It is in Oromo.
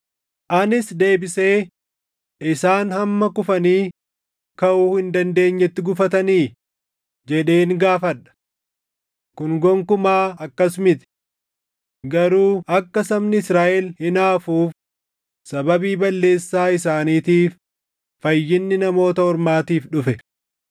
Anis deebisee, “Isaan hamma kufanii kaʼuu hin dandeenyetti gufatanii?” jedheen gaafadha. Kun gonkumaa akkas miti! Garuu akka sabni Israaʼel hinaafuuf sababii balleessaa isaaniitiif fayyinni Namoota Ormaatiif dhufe.